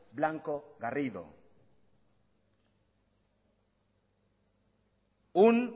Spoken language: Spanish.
blanco garrido un